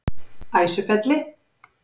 Æsufelli